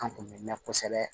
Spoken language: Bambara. An kun bɛ mɛn kosɛbɛ